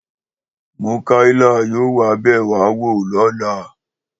Múkáìlà yóò wá bẹ̀ wá wò lóla